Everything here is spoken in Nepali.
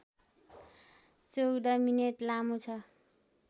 १४ मिनेट लामो छ